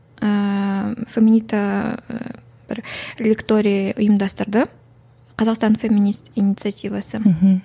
ііі феминита бір ликторий ұйымдастырды қазақстан феминист инициативасы мхм